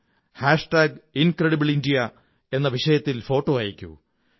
അതുല്യഭാരതം hashtag incredible India എന്ന വിഷയത്തിൽ photo അയയ്ക്കൂ